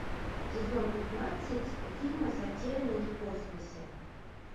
сезон пятнадцать фильма затерянный в космосе